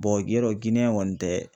yɔrɔ Giniyɛn kɔni tɛ.